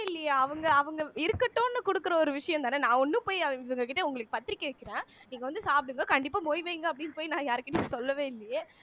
இல்லியே அவங்க அவங்க இருக்கட்டுன்னு கொடுக்கிற ஒரு விஷயம்தானே நான் ஒண்ணும் போய் இவங்க கிட்ட உங்களுக்கு பத்திரிகை வைக்கிறேன் நீங்க வந்து சாப்பிடுங்க கண்டிப்பா மொய் வைங்க அப்படின்னு போய் நான் யார்கிட்டயும் சொல்லவே இல்லையே